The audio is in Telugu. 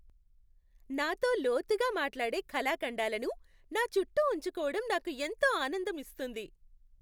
నాతో లోతుగా మాట్లాడే కళాఖండాలను నా చుట్టూ ఉంచుకోవటం నాకు ఎంతో ఆనందం ఇస్తుంది.